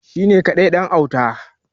shi ne kadai ɗan ɗan'uta